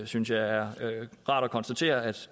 synes det er rart at konstatere at